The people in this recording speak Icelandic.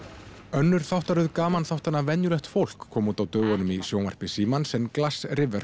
önnur þáttaröð gamanþáttanna venjulegt fólk kom út á dögunum í sjónvarpi Símans en